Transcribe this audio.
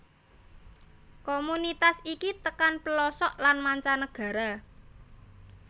Komunitas iki tekan plosok lan mancanegara